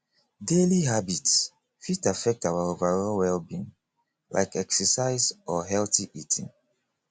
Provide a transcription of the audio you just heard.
daily habits fit affect our overall wellbeing like exercise or healthy eating